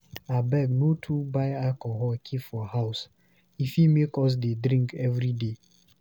Abeg no too buy alcohol keep for house, e fit make us dey drink everyday.